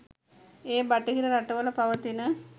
ඒ බටහිර රටවල පවතින